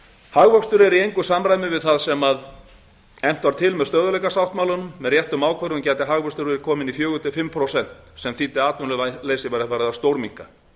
hagvöxtur er í engu samræmi við það sem efnt var til með stöðugleikasáttmálanum með réttum ákvörðunum gæti hagvöxtur verið kominn í fjögur til fimm prósent sem þýddi að atvinnuleysi væri farið að stórminnka